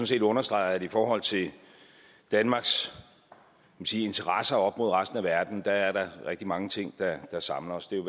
set understreger at i forhold til danmarks interesser op mod resten af verden er der rigtig mange ting der samler os det er